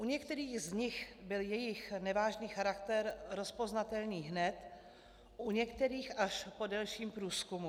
U některých z nich byl jejich nevážný charakter rozpoznatelný hned, u některých až po delším průzkumu.